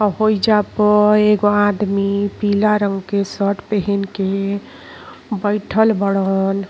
होइजा पर एगो आदमी पीला रंग के शर्ट पेहेन के बईठल बाड़न।